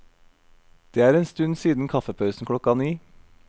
Det er en stund siden kaffepausen klokka ni.